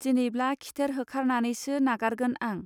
दिनैब्ला खिथेर होखार नानैसो नागारगोन आं